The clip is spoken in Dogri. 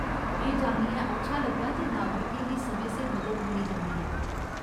एह् जानियै अच्छा लग्गा जे नागरिकें गी समें सिर मदद मिली जंदी ऐ।